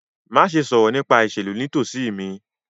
Maṣe sọrọ nipa iṣelu nitosi mi!